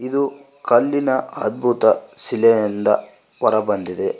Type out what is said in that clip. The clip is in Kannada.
ಇದು ಕಲ್ಲಿನ ಅದ್ಬುತ ಶಿಲೆಯಿಂದ ಹೊರಬಂದಿದೆ.